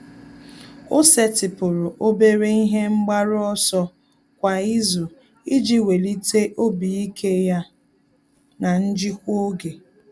Ọ́ sètị́pụ̀rụ̀ obere ihe mgbaru ọsọ kwa ìzù iji wèlíté obi ike ya na njikwa oge.